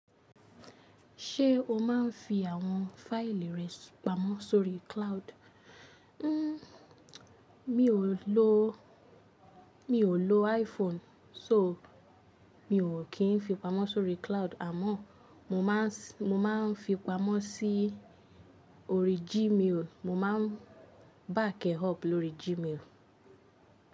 Ṣé o máa ń fi àwọn fáìlì rẹ pamọ́ sórí cloud? Mí ò lò, mí ò lò iPhone, so mi ò kín fi pamọ́ sórí cloud, àmọ́ mo máa ń, mo máa ń fi pamọ́ sí orí Gmail. Mo ma ń back ẹ̀ up lórí Gmail.